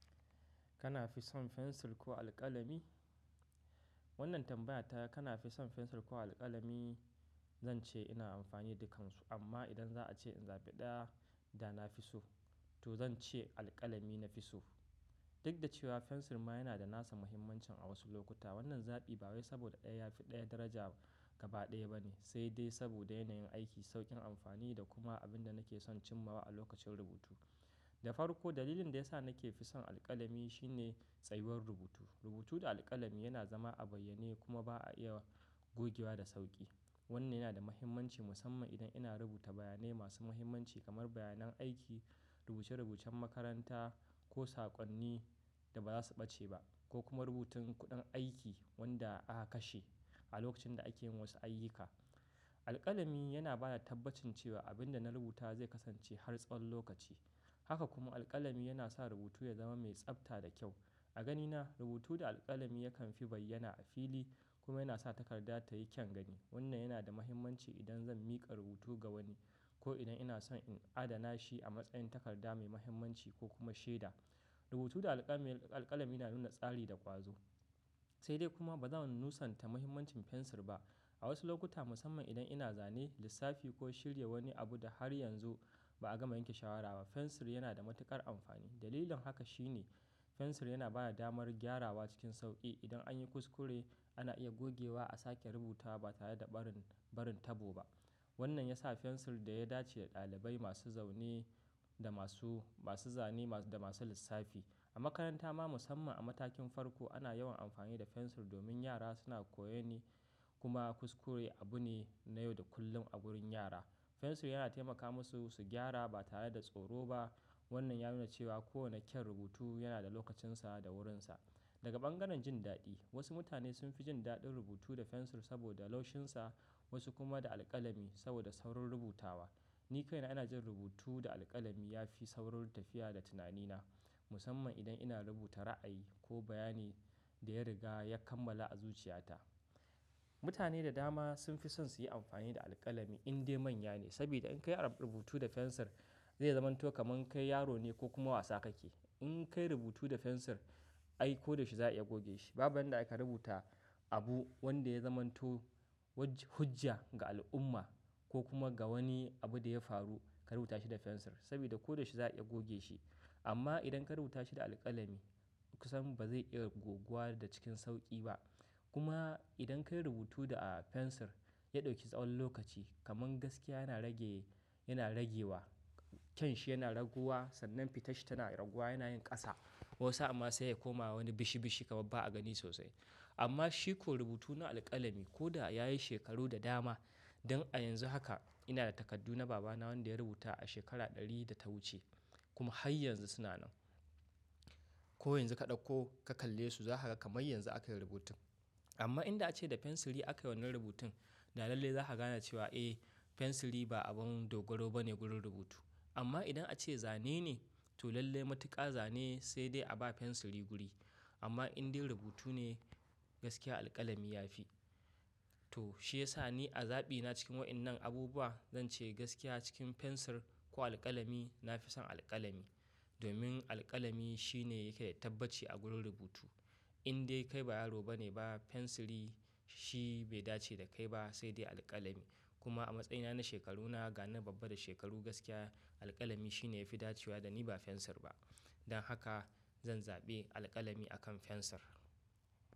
Kana fi son fensir ko alƙalami? Wannan tambaya ta, kana fi son fensir ko alƙalami? Zan ce ina amfani da dukansu. Amma idan za a ce in zaɓi ɗaya da na fi so, to zan ce alƙalami na fi so. Duk da cewa fensir ma yana da nasa muhimmancin a wasu lokuta. Wannan zaɓi ba wai saboda ɗaya ya fi ɗaya daraja gaba ɗaya ba ne, sai dai saboda yanayin aiki, sauƙin amfani da kuma abin da nake son cimmawa lokacin rubutu. Da farko dalilin da ya sa nake fi son alƙalami shine tsayuwar rubutu. Rubutu da alƙalami yana zama a bayyane kuma ba a iya gogewa da sauƙi. Wannan yana da muhimmanci musamman idan ina rubuta bayanai masu muhimmanci kamar bayanan aiki, rubuce-rubucen makaranta ko saƙonni da ba za su ɓace ba, ko kuma rubutun kuɗin aiki wanda aka kashe a lokacin da ake yin wasu ayyuka. Alƙalami yana ba da tabbacin cewa abin da na rubuta zai kasance har tsawon lokaci. Haka kuma alƙalami yana sa rubutu ya zama mai tsabta da kyau. A ganina rubutu da alƙalami yakan fi bayyana a fili kuma yana sa takarda ta yi kyan gani. Wannan yana da muhimmanci idan zan miƙa rubutu ga wani ko idan ina son in adana shi a matsayin takarda mai muhimmanci ko kuma shaida. Rubutu da alƙalami yana nuna tsari da ƙwazo. Sai dai kuma ba zan nusanta muhimmancin fensir ba. A wasu lokuta musamman idan ina zane, lissafi ko shirya wani abu da har yanzu ba a gama yanke shawara ba, fensir yana da matuƙar amfani. Dalilin haka shine fensir yana ba da damar gyarawa cikin sauƙi. Idan an yi kuskure ana iya gogewa a sake rubuta ba tare da barin, barin tabo ba. Wannan ya sa fensir da ya dace da ɗalibai masu zaune da masu, masu zane da masu lissafi. A makaranta ma musamman a matakin farko ana yawan amfani da fensir domin yara suna koyo ne kuma kuskure abu ne na yau da kullum a gurin yara. Fensir yana taimaka musu su gyara ba tare da tsoro ba. Wannan ya nuna cewa kowane kyan rubutu yana da lokacinsa da wurinsa. Daga bangaren jin daɗi wasu mutane sun fi jin daɗin rubutu da fensir saboda laushinsa wasu kuma da alƙalami saboda saurin rubutawa. Ni kaina ina jin rubutu da alƙalami ya fi saurin tafiya da tunanina musamman idan ina rubuta ra'ayi ko bayani da ya riga ya kammala a zuciyata. Mutane da dama sun fi son su yi amfani da alƙalami in dai manya ne. Saboda in kai arab rubutu da fensir zai zamanto kamar kai yaro ne ko kuma wasa kake. In kai rubutu da fensir ai ko da shi za a iya goge shi. Babu yanda aka rubuta abu wanda ya zamanto waj hujja ga al'umma ko kuma ga wani abu da ya faru ka rubuta shi da fensir saboda ko da shi za a iya goge shi. Amma idan ka rubuta shi da alƙalami kusan ba zai iya gogewa da cikin sauƙi ba. Kuma idan ka yi rubutu da a fensir ya ɗauki tsawon lokaci kamar gaskiya yana rage, yana rage wa. Kyan shi yana raguwa, sannan fitash shi tana raguwa yana yin ƙasa wasu amma sai ya koma wani bishi bishi kamar ba a gani sosai. Amma shiko rubutu na alƙalami ko da ya yi shekaru da dama, dan a yanzu haka ina da takardu na babana wanda ya rubuta a shekara ɗari da ta wuce kuma har yanzu suna nan. Ko yanzu ka ɗauko ka kalle su za ka ga kamar yanzu aka yi rubutun. Amma inda ace da fensiri akai wannnan rubutun da lallai za ka gane cewa eh fensiri ba abin dogaro ba ne gurin rubutu. Amma idan ace zane ne to lallai matuƙa zane sai dai a ba fensiri guri. Amma in dai rubutu ne gaskiya alƙalami ya fi. To shi ya sa ni a zaɓina cikin waɗannan abubuwa zan ce gaskiya cikin fensir ko alƙalami na fi son alƙalami. Domin alƙalami shi ne yake da tabbaci a gurin rubutu. In dai kai ba yaro ba ne ba fensiri shi bai dace da kai ba sai dai alƙalami. Kuma a matsayina na shekaruna gani babba da shekaru gaskiya alƙalami shi ne ya fi dacewa da ni ba fensir ba. Dan haka zan zaɓe alƙalami akan fensir.